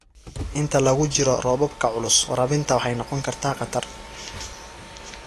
Inta lagu jiro roobabka culus, waraabinta waxay noqon kartaa khatar.